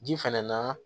Ji fɛnɛ na